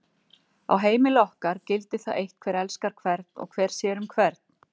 Á heimili okkar gildir það eitt hver elskar hvern og hver sér um hvern.